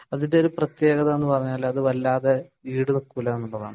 അതിന്റെ പ്രത്യേകത എന്ന് പറഞ്ഞാൽ അത് വല്ലാതെ ഈടു നിൽക്കൂല എന്നതാണ്